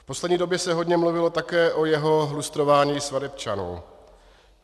V poslední době se hodně mluvilo také o jeho lustrování svatebčanů.